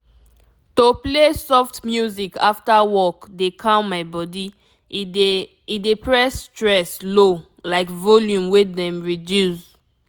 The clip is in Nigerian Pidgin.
to play soft music after work dey calm my body e dey e dey press stress low like volume wey dem reduce.